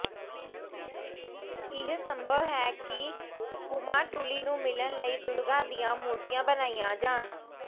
ਇਹ ਸੰਭਵ ਹੈ ਕਿ ਕੁਮਾਟੂਲੀ ਨੂੰ ਮਿਲਣ ਲਈ ਦੁਰਗਾ ਦੀਆਂ ਮੂਰਤੀਆਂ ਬਣਾਈਆਂ ਜਾਣ